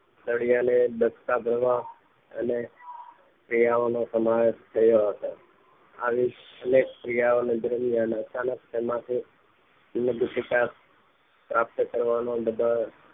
સળિયાને બચકા ભરવા અને સળિયાઓ નો સમાવેશ કર્યો હતો આવી અનેક ક્રિયા માં અચાનક તેમાંથી શિકાર પ્રાપ્ત કરવાનો